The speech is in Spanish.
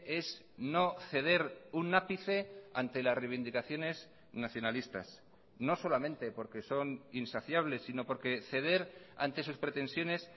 es no ceder un ápice ante las reivindicaciones nacionalistas no solamente porque son insaciables sino porque ceder ante sus pretensiones